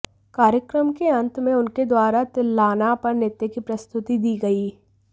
कार्यक्रम के अंत में उनके द्वारा तिल्लाना पर नृत्य की प्रस्तुति दी गई